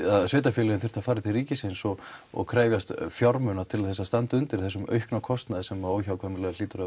sveitafélögin þyrftu að fara til ríkisins og og krefjast fjármuna til þess að standa undir þessum aukna kostnaði sem óhjákvæmilega hlýtur að